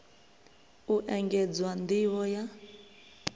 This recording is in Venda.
u engedzwa nd ivho ya